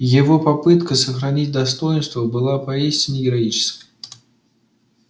его попытка сохранить достоинство была поистине героической